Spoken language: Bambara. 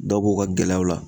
Dɔ b'u ka gɛlɛyaw la.